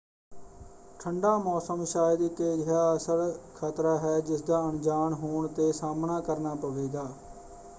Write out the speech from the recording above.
ਠੰਡਾ ਮੌਸਮ ਸ਼ਾਇਦ ਇੱਕ ਅਜਿਹਾ ਅਸਲ ਖਤਰਾ ਹੈ ਜਿਸਦਾ ਅਣਜਾਣ ਹੋਣ 'ਤੇ ਸਾਹਮਣਾ ਕਰਨਾ ਪਵੇਗਾ।